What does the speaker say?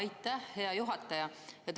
Aitäh, hea juhataja!